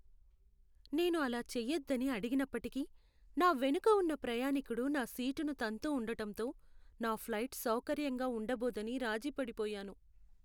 నేను అలా చేయొద్దని అడిగినప్పటికీ, నా వెనుక ఉన్న ప్రయాణీకుడు నా సీటును తంతూ ఉండడంతో, నా ఫ్లైట్ సౌకర్యంగా ఉండబోదని రాజీ పడిపోయాను.